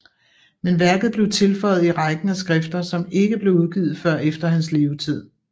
Men værket blev tilføjet i rækken af skrifter som ikke blev udgivet før efter hans levetid